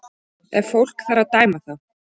Ef fólk þarf að dæma þá